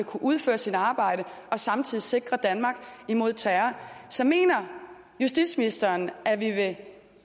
kan udføre sit arbejde og samtidig sikre danmark imod terror så mener justitsministeren at vi vil